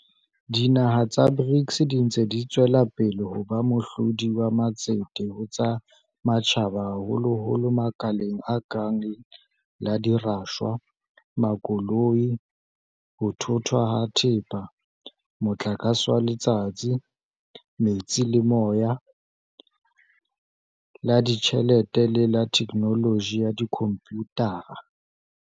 Dinaha tsa BRICS di ntse di tswela pele ho ba mohlodi wa matsete ho tsa matjhaba haholoholo makaleng a kang la dirashwa, makoloi, ho thothwa ha thepa, motlakase wa letsatsi, metsi le moya, la ditjhelete le la thekenoloji ya dikhomputara.